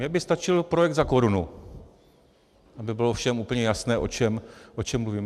Mně by stačil projekt za korunu, aby bylo všem úplně jasné, o čem mluvím.